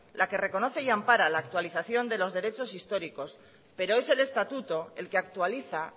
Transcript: la que reconoce y ampara la actualización de los derechos históricos pero es el estatuto el que actualiza